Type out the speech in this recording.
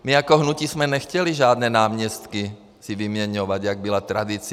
My jako hnutí jsme nechtěli žádné náměstky si vyměňovat, jak byla tradice.